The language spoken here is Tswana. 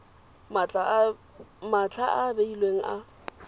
matlha a a beilweng a